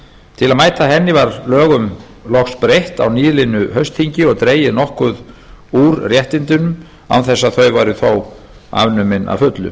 til að mæta henni var lögunum loks breytt á nýliðnu haustþingi og dregið úr réttindum án þess að þau væru þó afnumin að fullu